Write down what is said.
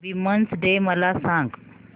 women's day मला सांग